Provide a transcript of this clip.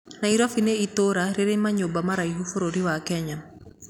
Nairobi ni itũra rĩrĩ manyũmba maraihu bũrũri wa kenya